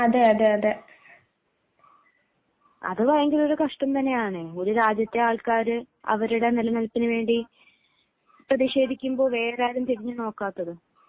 അതെയതെ അതെ അത് ഭയങ്കര കഷ്ടം തന്നെയാണ് ഒരു രാജ്യത്തിലെ ജനങ്ങൾ അവരുടെ നിലനിൽപ്പിനു വേണ്ടി പ്രതിഷേധിക്കുമ്പോൾ വേറാരും തിരിഞ്ഞു നോക്കാത്തത്